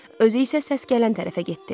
Özü isə səs gələn tərəfə getdi.